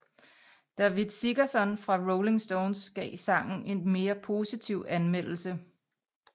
Davitt Sigerson fra Rolling Stone gav sangen en mere positiv anmeldelse